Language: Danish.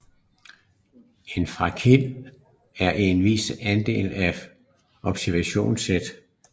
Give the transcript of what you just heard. En fraktil er en vis andel af et observationssæt